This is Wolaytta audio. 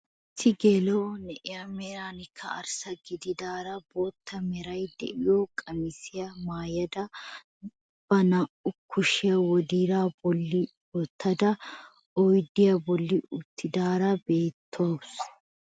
Issi geela'o na'iyaa merankka arssa gididaara bootta meraara de'iyaa qamisiyaa maayada ba naa"u kushiyaa wodiraa bolli wottada oydiyaa bolli uttidaara beettawus.